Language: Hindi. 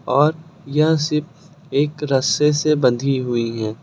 और यह शिप एक रस्से से बंधी हुई हैं।